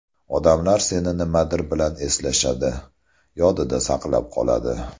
Odamlar seni nimadir bilan eslashadi, yodida saqlab qoladi.